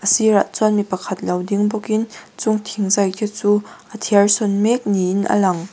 a sirah chuan mipa khat lo ding bawk in chung thingzai te chu a thiar sawn mek niin a lang.